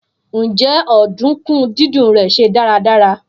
Njẹ ọdunkun didùn rẹ ṣe daradara?